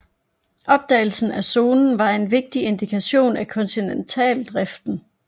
Opdagelsen af zonen var en vigtig indikation for kontinentaldriften